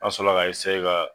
A sɔrɔ ka